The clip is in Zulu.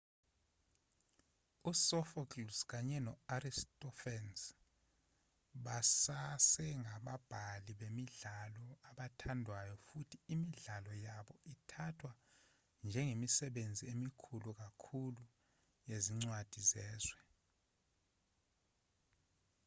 usophocles kanye no-aristophanes basasengababhali bemidlalo abathandwayo futhi imidlalo yabo ithathwa njengemisebenzi emikhulu kakhulu yezincwadi zezwe